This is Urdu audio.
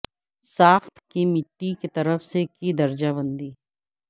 ساخت کی مٹی کی طرف سے کی درجہ بندی